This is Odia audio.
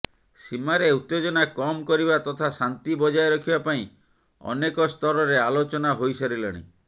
ସୀମାରେ ଉତ୍ତେଜନା କମ୍ କରିବା ତଥା ଶାନ୍ତି ବଜାୟ ରଖିବା ପାଇଁ ଅନେକ ସ୍ତରରେ ଆଲୋଚନା ହୋଇସାରିଲାଣି